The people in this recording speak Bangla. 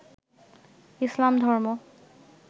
ইসলাম ধর্ম